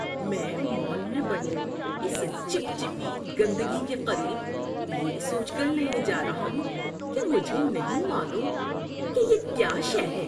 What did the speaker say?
میں مال میں بنی اس چپچپی گندگی کے قریب یہ سوچ کر نہیں جا رہا ہوں کہ مجھے نہیں معلوم کہ یہ کیا شے ہے۔